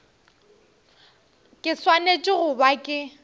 ke swanetše go ba ke